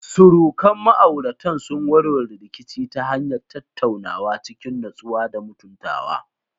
Surukan ma'auratan sun warware rikici ta hanyar tattaunawa cikin natsuwa da mutuntawa.